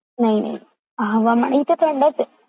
नाही नाही हवामान इथे थंडच आहे..